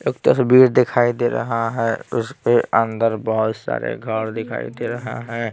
एक तस्वीर दिखाई दे रहा है उसके अंदर बहुत सारे घर दिखाई दे रहा है।